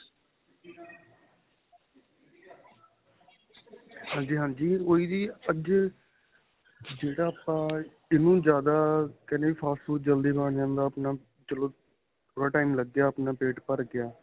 ਹਾਂਜੀ ਹਾਂਜੀ ਉਹੀ ਜ਼ੀ ਅੱਜ ਜਿਹੜਾ ਆਪਾਂ ਇਹਨੂੰ ਜਿਆਦਾ ਕਹਿਣੇ ਆਂ fast food ਜਲਦੀ ਬਣ ਜਾਂਦਾ ਆਪਣਾ ਚਲੋਂ ਥੋੜਾ time ਲੱਗਿਆ ਆਪਣਾਂ ਪੇਟ ਭਰ ਗਿਆ